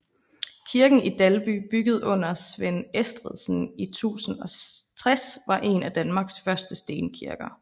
Kirken i Dalby bygget under Svend Estridsen i 1060 var en af Danmarks første stenkirker